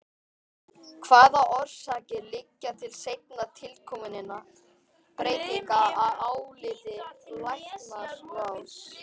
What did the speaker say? Hvaða orsakir liggja til seinna tilkominna breytinga að áliti læknaráðs?